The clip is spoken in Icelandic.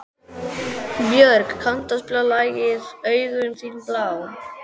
Björg, kanntu að spila lagið „Augun þín blá“?